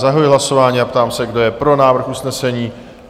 Zahajuji hlasování a ptám se, kdo je pro návrh usnesení?